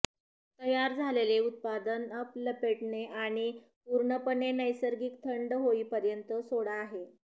तयार झालेले उत्पादन अप लपेटणे आणि पूर्णपणे नैसर्गिक थंड होईपर्यंत सोडा आहे